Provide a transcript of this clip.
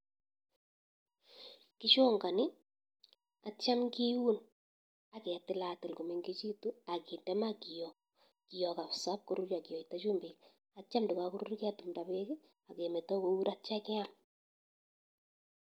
Kichonganii atya kiun aketilatil koo mengechitu akinde maa kioo, kioo kabsa ipkorurya akende chumbik atya ndakakorurya kee tumtaa peek akemeta kour atya keam